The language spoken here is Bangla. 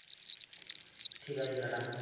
ঠিক আছে টাটা।